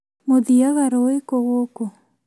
Mũthiaga rũĩ kũ gũkũ?